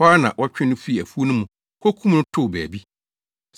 Ɛhɔ ara na wɔtwee no fii afuw no mu, kokum no too baabi.